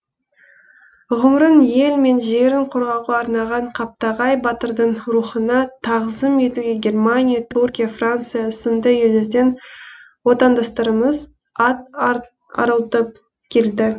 ғұмырын ел мен жерін қорғауға арнаған қаптағай батырдың рухына тағзым етуге германия түркия франция сынды елдерден отандастарымыз ат арылтып келді